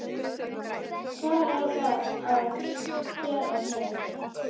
Hvar á að skera niður?